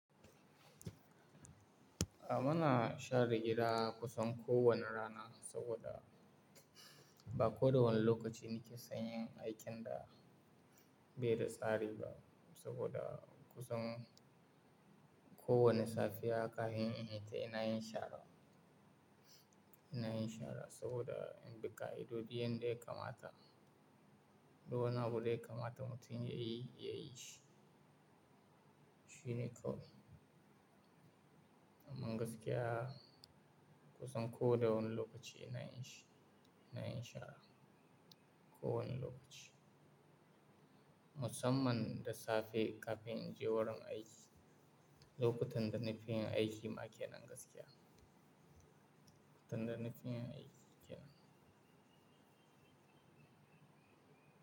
A mana share gida kusan kowane rana saboda ba kowane lokaci nike son yin aikin da bai da tsari ba saboda kusan kowane safiya kafin in yi ta ina yin shara. Ina yin shara saboda duka idodiyar da ya kamata, duka wani abu da ya kamata mutum ya yi, ya yi shi. Shi ne kawai. Amman gaskiya kusan kowane lokaci ina yin shi, ina yin shara kowane lokaci. Musamman da safe kafin in je wurin aiki, lokutan da na fi yin aiki ma kenan gaskiya. Lokutan da na fi yin aiki kenan.